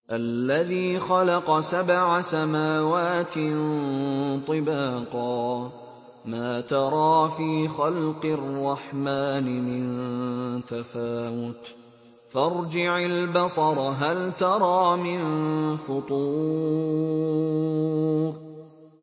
الَّذِي خَلَقَ سَبْعَ سَمَاوَاتٍ طِبَاقًا ۖ مَّا تَرَىٰ فِي خَلْقِ الرَّحْمَٰنِ مِن تَفَاوُتٍ ۖ فَارْجِعِ الْبَصَرَ هَلْ تَرَىٰ مِن فُطُورٍ